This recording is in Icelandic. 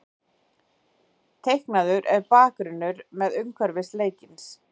Teiknaður er bakgrunnur með umhverfi leiksins.